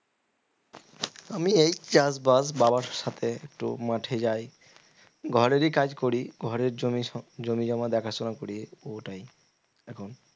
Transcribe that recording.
আমি এই চাষবাস বাবার সাথে একটু মাঠে যাই ঘরেরই কাজ করি ঘরের জমি জমি জমা দেখাশোনা করি ওটাই এখন